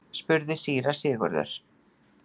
spurði síra Sigurður.